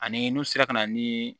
Ani n'u sera ka na ni